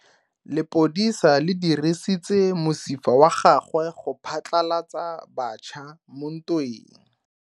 Lepodisa le dirisitse mosifa wa gagwe go phatlalatsa batšha mo ntweng.